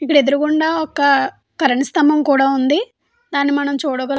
ఇక్కడ ఎదురుగా ఉండా కూడా ఒక కరెంటు స్తంభ ఉంది. దాన్ని మనం చూడగలుగుతున్నాం.